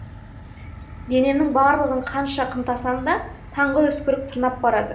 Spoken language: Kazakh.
денемнің барлығын қанша қымтансамда таңғы үскірік тырнап барады